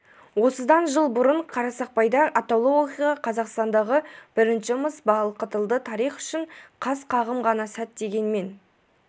осыдан жыл бұрын қарсақпайда атаулы оқиға қазақстандағы бірінші мыс балқытылды тарих үшін қас-қағым ғана сәт дегенмен